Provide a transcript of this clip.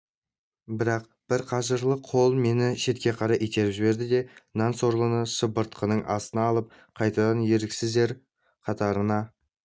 бірақ бір қажырлы қол мені шетке қарай итеріп жіберді де нан сорлыны шыбыртқының астына алып қайтадан еріксіздер қатарына